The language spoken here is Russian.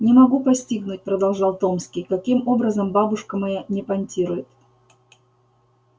не могу постигнуть продолжал томский каким образом бабушка моя не понтирует